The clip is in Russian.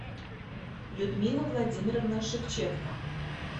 людмила владимировна шевченко